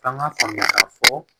F'an k'a faamuya k'a fɔ